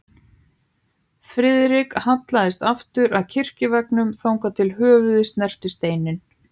Friðrik hallaðist aftur að kirkjuveggnum, þangað til höfuðið snerti steininn.